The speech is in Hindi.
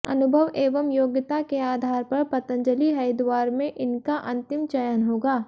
अनुभव एवं योग्यता के आधार पर पतंजलि हरिद्वार में इनका अंतिम चयन होगा